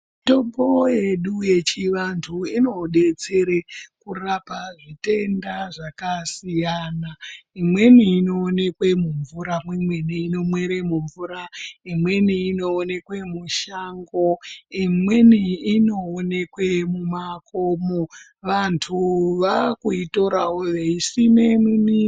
Mitombo yedu yechivantu inobetsere kurapa zvitenda zvakasiyana imweni inoonekwe mumvura , imweni inomere mumvura ,imweni inoonekwe mushango , imweni inoonekwe mumakomo vantu vakuitorawo veisime.